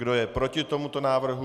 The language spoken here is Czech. Kdo je proti tomuto návrhu?